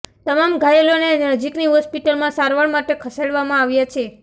તમામ ઘાયલોને નજીકની હોસ્પિટલમાં સારવાર માટે ખસેડવામાં આવ્યા છે